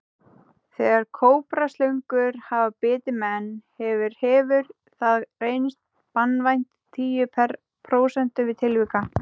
Þegar kóbraslöngur hafa bitið menn hefur hefur það reynst banvænt í tíu prósentum tilvika.